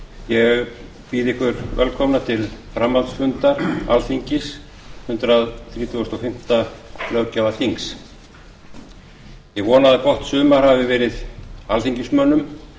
ég býð ykkur velkomna til framhaldsfunda alþingis hundrað þrítugasta og fimmta löggjafarþings ég vona að gott sumar hafi verið alþingismönnum